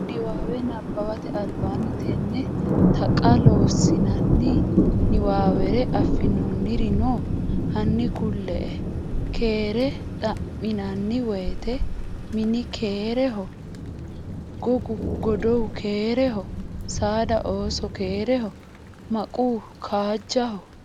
Niwaawe nabbawate albaanni tenne Taqa Loossinanni niwaawere affinoonniri no? Hanni kulle”e? Keere xa’minanni woyte, “Mini keereho?, Gogu godowu keereho?, saada, ooso keereho?, maquu kaajjaho?